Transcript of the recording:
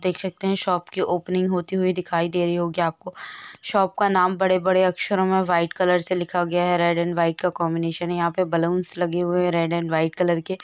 देख सकते हैं शॉप की ओपनिंग होते हुए दिखाई दे रही होगी आपको। शॉप का नाम बड़े-बड़े अक्षरों में व्हाइट कलर से लिखा गया है। रेड एंड व्हाइट का कंबीनेशन है। यहां पर बलूंस लगे हुए हैं। रेड एंड व्हाइट कलर के।